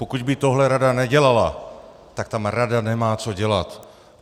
Pokud by tohle rada nedělala, tak tam rada nemá co dělat!